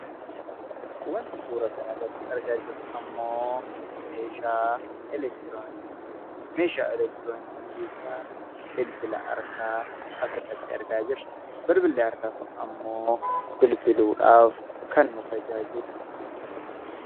Wanti suuraa kana irratti argaa jirru ammoo meeshaa elektirooniksii ti. Meeshaa elektirooniksii keessaa bilbila harkaa asirratti argaa jirra. Bilbilli harkaa kun ammoo bilbiluu dhaaf kan nu tajaajilu.